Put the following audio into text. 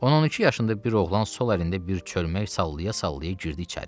On iki yaşında bir oğlan sol əlində bir çölmək sallaya-sallaya girdi içəri.